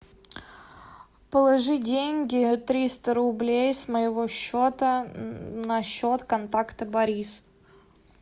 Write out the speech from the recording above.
положи деньги триста рублей с моего счета на счет контакта борис